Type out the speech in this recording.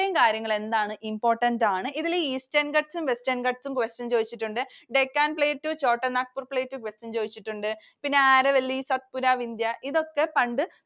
ഇത്രയും കാര്യങ്ങൾ എന്താണ്? Important ആണ്. ഇതിൽ Eastern Ghats ഉം Western Ghats ഉം question ചോദിച്ചിട്ടുണ്ട്. Deccan plateau, Chotanagpur plateau question ചോദിച്ചിട്ടുണ്ട്. പിന്നെ Aravalli, Satpura, Vindhya ഇതൊക്കെ പണ്ട്